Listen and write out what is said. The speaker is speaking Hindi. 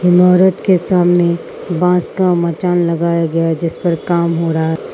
ईमारत के सामने बांस का मचान लगाया गया जीस पर काम हो रहा है।